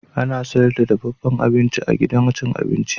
Ana sayar da dafaffen abinci a gidan abin ci.